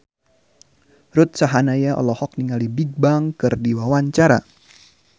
Ruth Sahanaya olohok ningali Bigbang keur diwawancara